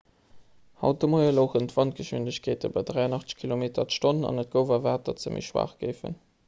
haut de moie louchen d'wandgeschwindegkeete bei 83 km/h an et gouf erwaart datt se méi schwaach géifen